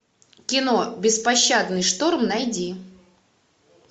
кино беспощадный шторм найди